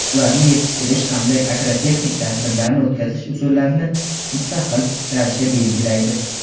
ularni yetishtirish hamda agrotexnik tadbirlarni o‘tkazish usullarini mustaqil ravishda belgilaydi.